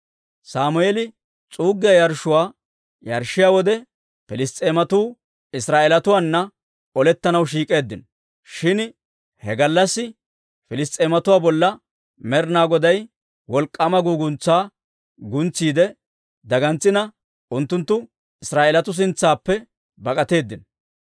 Sammeeli s'uuggiyaa yarshshuwaa yarshshiyaa wode, Piliss's'eematuu Israa'eelatuwaana olettanaw shiik'k'eeddino. Shin he gallassi Piliss's'eematuwaa bolla Med'inaa Goday wolk'k'aama guuguntsaa guntsiide dagantsina, unttunttu Israa'eelatuu sintsaappe bak'atteedino.